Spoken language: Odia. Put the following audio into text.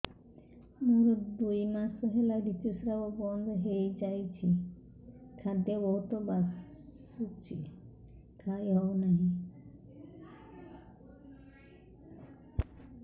ମୋର ଦୁଇ ମାସ ହେଲା ଋତୁ ସ୍ରାବ ବନ୍ଦ ହେଇଯାଇଛି ଖାଦ୍ୟ ବହୁତ ବାସୁଛି ଖାଇ ହଉ ନାହିଁ